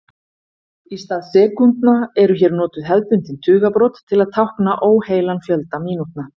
Í stað sekúndna eru hér notuð hefðbundin tugabrot til að tákna óheilan fjölda mínútna.